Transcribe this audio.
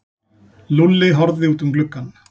Lúlli horfði út um gluggann.